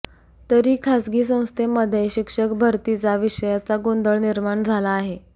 तरी खासगी संस्थेमध्ये शिक्षक भरतीचा विषयाचा गोंधळ निर्माण झाला आहे